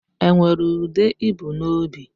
E nwere ude i bu n'obi?